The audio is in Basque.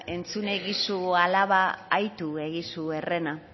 entzun egizu alaba aitu egizu herrena